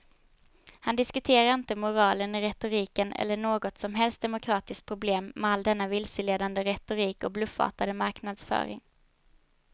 Han diskuterar inte moralen i retoriken eller något som helst demokratiskt problem med all denna vilseledande retorik och bluffartade marknadsföring.